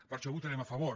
per això hi votarem a favor